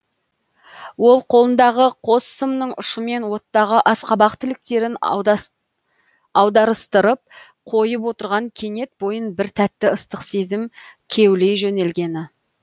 ол қолындағы қос сымның ұшымен оттағы асқабақ тіліктерін аударыстырып қойып отырған кенет бойын бір тәтті ыстық сезім кеулей жөнелгені